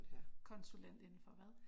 Konsulent indenfor hvad?